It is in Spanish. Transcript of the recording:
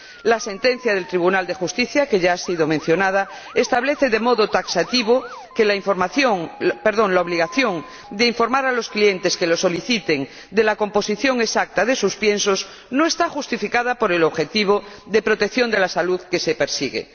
La sentencia del Tribunal de Justicia que ya ha sido mencionada establece de modo taxativo que la obligación de informar a los clientes que lo soliciten de la composición exacta de sus piensos no está justificada por el objetivo de protección de la salud que se persigue.